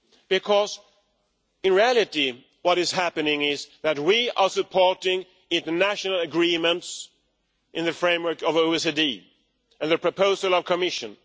Because in reality what is happening is that we are supporting international agreements in the framework of OECD and the proposal of the Commission.